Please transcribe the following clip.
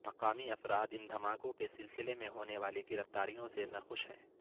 مقامی افراد ان دھماکوں کے سلسلے میں ہونے والی گرفتاریوں سے نہ خوش ہیں